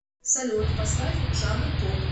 салют поставь жанр поп